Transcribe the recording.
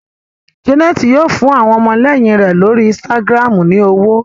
Janet yíò fún àwọn ọmọléyìn rẹ l'ori Instagram ní ọwọ.